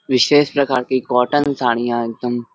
विशेष प्रकार की कॉटन साडियाँ एकदम--